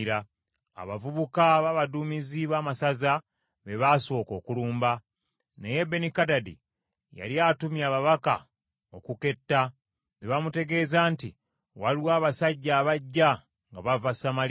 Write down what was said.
Abavubuka b’abaduumizi b’amasaza be baasooka okulumba. Naye Benikadadi yali atumye ababaka okuketta, ne bamutegeeza nti, “Waliwo abasajja abajja nga bava Samaliya.”